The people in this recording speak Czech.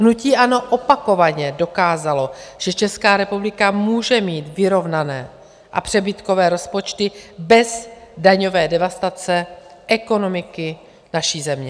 Hnutí ANO opakovaně dokázalo, že Česká republika může mít vyrovnané a přebytkové rozpočty bez daňové devastace ekonomiky naší země.